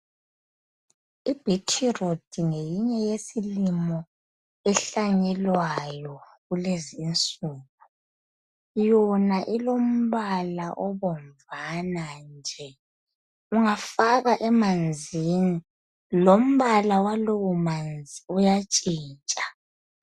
Ibhithirudi ngeyinye yesilimo ehlanyelwayo kulezi insuku yona ilombala obomvana nje ungafaka emanzini lombala walowo manzi uyatshintsha.